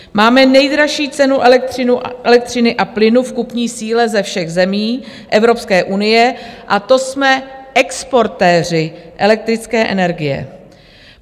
Máme nejdražší cenu elektřiny a plynu v kupní síle ze všech zemí Evropské unie, a to jsme exportéři elektrické energie.